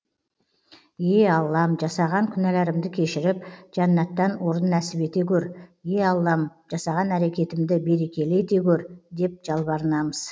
е аллам жасаған күнәларымды кешіріп жәннаттан орын нәсіп ете көр е аллам жасаған әрекетімді берекелі ете көр деп жалбарынамыз